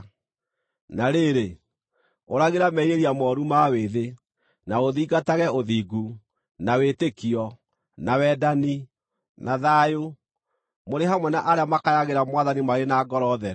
Na rĩrĩ, ũragĩra merirĩria mooru ma wĩthĩ, na ũthingatage ũthingu, na wĩtĩkio, na wendani, na thayũ, mũrĩ hamwe na arĩa makayagĩra Mwathani marĩ na ngoro theru.